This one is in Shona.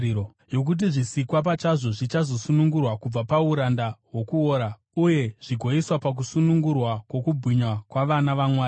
yokuti zvisikwa pachazvo zvichazosunungurwa kubva pauranda hwokuora uye zvigoiswa pakusunungurwa kwokubwinya kwavana vaMwari.